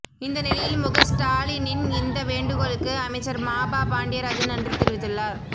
இந்த நிலையில் முக ஸ்டாலினின் இந்த வேண்டுகோளுக்கு அமைச்சர் மாபா பாண்டியராஜன் நன்றி தெரிவித்துள்ளார்